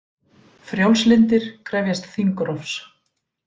Frjálslyndir krefjast þingrofs